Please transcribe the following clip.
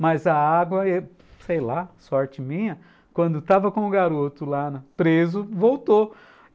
Mas a água eh, sei lá, sorte minha, quando estava com o garoto lá preso, voltou.